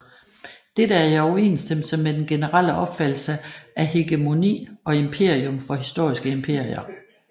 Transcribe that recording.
Dette er i overensstemmelse med den generelle opfattelse af hegemoni og imperium for historiske imperier